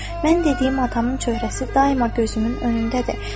Mən dediyim adamın çöhrəsi daima gözümün önündədir.